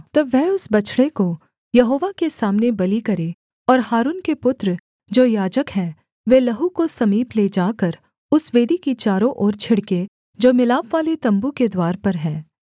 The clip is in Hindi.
तब वह उस बछड़े को यहोवा के सामने बलि करे और हारून के पुत्र जो याजक हैं वे लहू को समीप ले जाकर उस वेदी की चारों ओर छिड़के जो मिलापवाले तम्बू के द्वार पर है